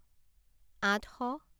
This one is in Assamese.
আঠশ